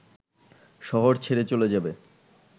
শহর ছেড়ে চলে যাবে